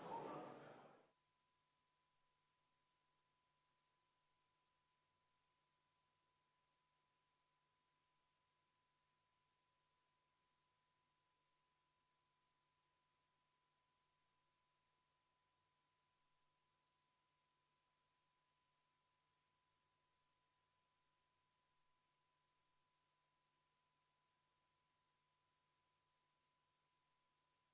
Järgmine päevakorrapunkt on siseministrile umbusalduse avaldamine.